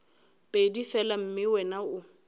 pedi fela mme wena o